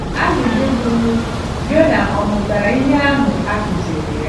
Ajụjụ bụ bụ, Jona ọ̀ mụtara ihe ahụ a kụziiri ya?